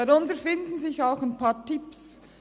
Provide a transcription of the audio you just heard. Darunter finden sich auch ein paar Tipps: